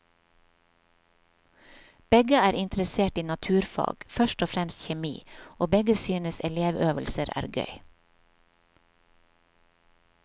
Begge er interessert i naturfag, først og fremst kjemi, og begge synes elevøvelser er gøy.